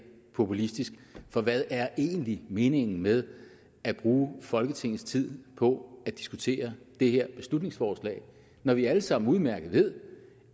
populistisk for hvad er egentlig meningen med at bruge folketingets tid på at diskutere det her beslutningsforslag når vi alle sammen udmærket ved